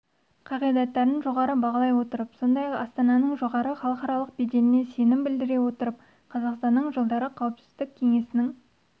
қағидаттарын жоғары бағалап сондай-ақ астананың жоғары халықаралық беделіне сенім білдіре отырып қазақстанның жылдары қауіпсіздік кеңесінің